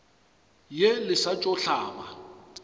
ye le sa tšo hlaba